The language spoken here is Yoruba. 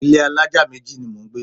Ilé alájà méjì ni mò ń gbé.